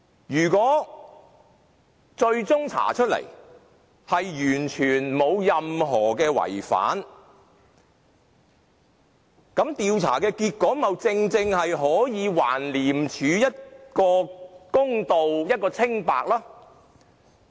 如果最終查出完全沒有違反任何程序，調查結果豈不正正可以還廉署一個公道、一個清白嗎？